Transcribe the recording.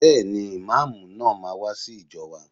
Bẹ́ẹ̀ni, Ìmáàmù náà máa wá sí ìjọ wa.